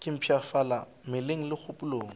ke mpshafala mmeleng le kgopolong